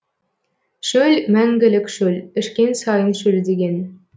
шөл мәңгілік шөл ішкен сайын шөлдеген